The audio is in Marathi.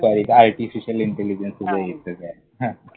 दुपारी काय Artificial Intelligence तुला येत काय? हां!